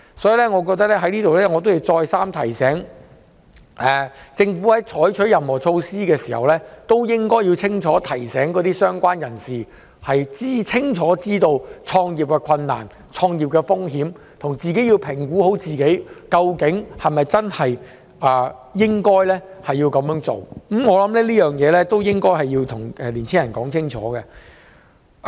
所以，我在這裏要再三提醒，政府在推行任何措施時，應該提醒相關人士要清楚知悉創業的困難、風險及評估自己應否創業，我覺得需要跟青年人說清楚。